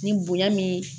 Ni bonya min